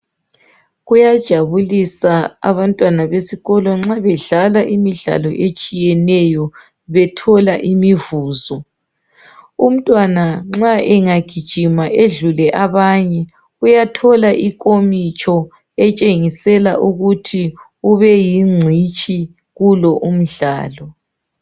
Kuyajabulisa abantwana besikolo nxa bedlala imidlalo etshiyeneyo bethola imivuzo. Umntwana nxa engagijima edlule abanye uyathola inkomotsho etshengisela ukuthi ube yincitshi kulo umdlalo.